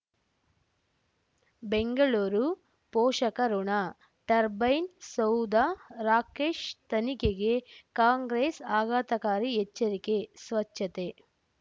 ಬೆಂಗಳೂರು ಪೋಷಕಋಣ ಟರ್ಬೈನು ಸೌಧ ರಾಕೇಶ್ ತನಿಖೆಗೆ ಕಾಂಗ್ರೆಸ್ ಆಘಾತಕಾರಿ ಎಚ್ಚರಿಕೆ ಸ್ವಚ್ಛತೆ